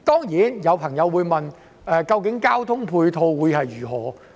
有朋友會問，交通配套方面如何？